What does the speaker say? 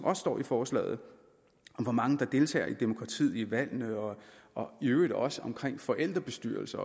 også står i forslaget om hvor mange der deltager i demokratiet ved valgene og og i øvrigt også i forældrebestyrelser